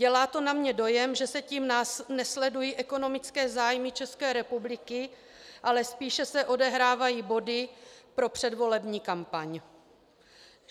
Dělá to na mě dojem, že se tím nesledují ekonomické zájmy České republiky, ale spíše se odehrávají body pro předvolební kampaň.